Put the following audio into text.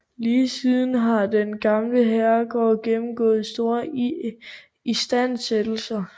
Lige siden har den gamle herregård gennemgået store istandsættelser